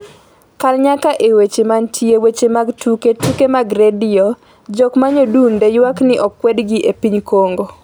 kal nyaka e weche manitie weche mag tuke tuke mag redio jok manyodunde ywak ni okwed gi e piny Congo